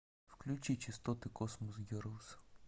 включи частоты космос герлс